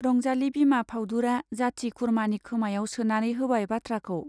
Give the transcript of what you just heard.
रंजाली बिमा फाउदुरा जाति-खुरमानि खोमायाव सोनानै होबाय बाथ्राखौ।